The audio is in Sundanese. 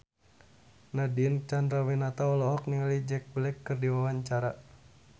Nadine Chandrawinata olohok ningali Jack Black keur diwawancara